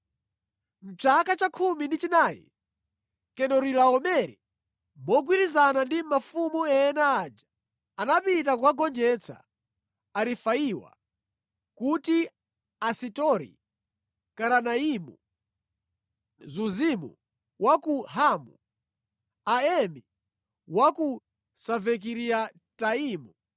Mʼchaka cha khumi ndi chinayi, Kedorilaomere mogwirizana ndi mafumu ena aja anapita kukagonjetsa Arefaiwa ku Asiteroti-karanaimu, Zuzimu wa ku Hamu, Aemi wa ku Savekiriataimu